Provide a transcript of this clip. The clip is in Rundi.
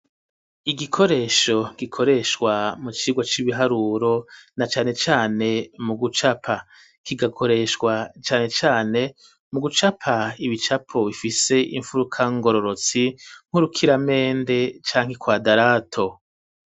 Igikoresho gikoreshwa mu kigo c'ibiharuro na cane cane mu gucapa kigakoreshwa cane cane mu gucapa ibicapo bifise imfuruka ngororotsi nk'urukiramende canke ikwadarato.